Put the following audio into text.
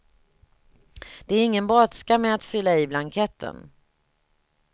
Det är ingen brådska med att fylla i blanketten.